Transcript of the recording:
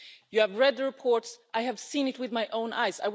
You have read the reports, I have seen it with my own eyes.